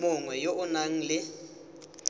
mongwe yo o nang le